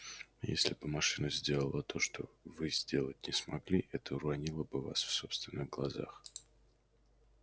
если бы машина сделала то что вы сделать не смогли это уронило бы вас в собственных глазах